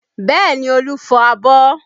Bẹẹ ni, Olu fọ abọ́